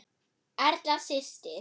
Erla systir.